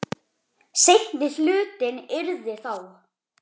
Seinni hlutinn yrði þá